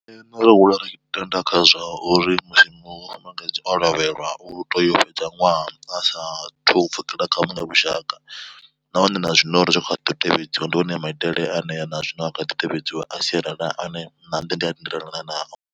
Nṋe ro hula ri tenda khazwa uri musi mufumakadzi o lovhelwa u teya u fhedza ṅwaha a sa thu pfhukela kha vhuṅwe vhushaka. Nahone na zwino uri zwi khaḓi tevhedziwa ndi one maitele hanea na zwino a kha ḓi tevhedziwa a sialala ane na nṋe ndi a tendelana nazwo.